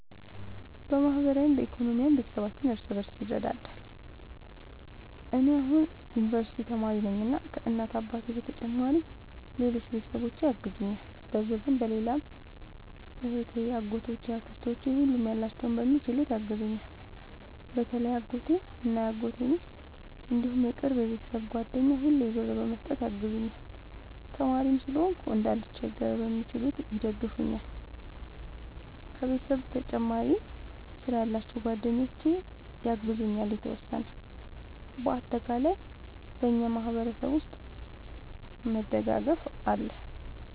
በማህበራዊም በኢኮኖሚም ቤተሰባችን እርስ በርስ ይረዳዳል። እኔ አሁን የዩንቨርስቲ ተማሪ ነኝ እና ከ እናት አባቴ በተጨማሪ ሌሎች ቤተሰቦቼ ያግዙኛል በብርም በሌላም እህቴ አጎቶቼ አክስቶቼ ሁሉም ያላቸውን በሚችሉት ያግዙኛል። በተለይ አጎቴ እና የአጎቴ ሚስት እንዲሁም የቅርብ የቤተሰብ ጓደኛ ሁሌ ብር በመስጠት ያግዙኛል። ተማሪም ስለሆንኩ እንዳልቸገር በሚችሉት ይደግፈኛል። ከቤተሰብ በተጨማሪ ስራ ያላቸው ጓደኞቼ ያግዙኛል የተወሰነ። እና በአጠቃላይ በእኛ ማህበረሰብ ውስጥ መደጋገፍ አለ